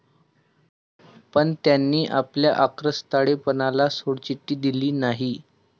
पण त्यांनी आपल्या आक्रस्ताळेपणाला सोडचिठ्ठी दिली नाही.